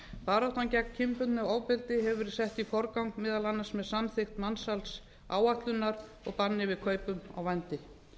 baráttan gegn kynbundnu ofbeldi hefur verið sett í forgang meðal annars með samþykkt mansals áætlunar og þannig við kaupum á vændi